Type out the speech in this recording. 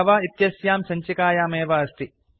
जव इत्यस्यां सञ्चिकायामेव वर्तते